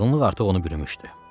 Çılğınlıq artıq onu bürümüşdü.